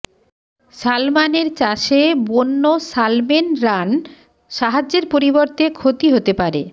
সালমানের চাষে বন্য সালমেন রান সাহায্যের পরিবর্তে ক্ষতি হতে পারে